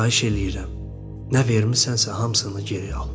Xahiş eləyirəm, nə vermisənsə hamısını geri al.